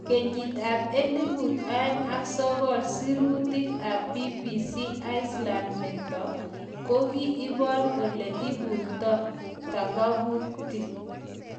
Kenyiit-ap elput aeng ak sokol sirutik ap BBC Iceland meto , kogi ipor ole ipurta Takabuti